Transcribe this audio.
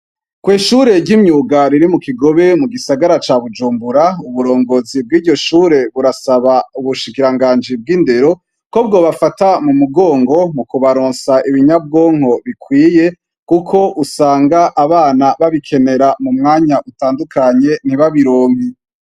Kw'ishure ry'imyuga riri mu Kigobe mu gisagara ca Bujumbura uburongozi bw'iryo shure burasaba ubushikiranganji bw'indero ko bwobafata mu mugongo mu kubaronsa ibi nyabwonko bikwiye kuko usanga abana babikenera mu mwanya utandukanye ntibabironke.